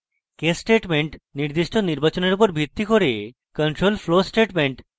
case statement নির্দিষ্ট নির্বাচনের উপর ভিত্তি করে control flow statement